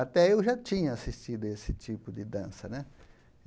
Até eu já tinha assistido esse tipo de dança né.